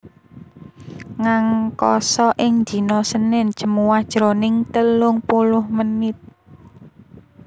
Ngangkasa ing dina Senin Jemuah jroning telung puluh menit